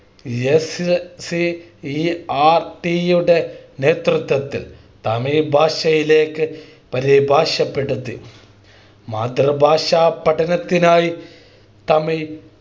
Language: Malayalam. SCERT യുടെ നേതൃത്വത്തിൽ തമിഴ് ഭാഷയിലേക്ക് പരിഭാഷപ്പെടുത്തി മാതൃഭാഷ പഠനത്തിനായി തമിഴ്